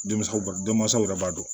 Denmansaw denmansaw yɛrɛ b'a dɔn